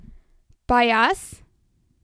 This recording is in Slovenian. Pa jaz?